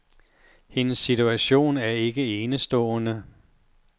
Hendes situation er ikke enestående.